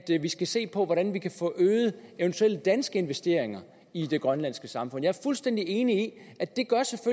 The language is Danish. vi skal se på hvordan vi kan få øget eventuelle danske investeringer i det grønlandske samfund jeg er fuldstændig enig